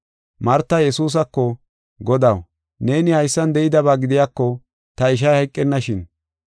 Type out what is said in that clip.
Marta Yesuusako, “Godaw, neeni haysan de7idaba gidiyako ta ishay hayqennashin.